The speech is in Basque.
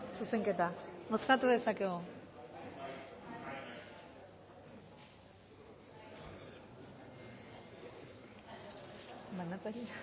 zuzenketa bozkatu dezakegu